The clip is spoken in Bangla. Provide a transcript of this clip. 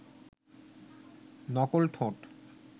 নকল ঠোঁট